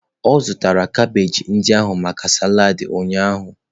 Ọ zụtara kabeeji ndị ahụ maka salad ụnyaahụ.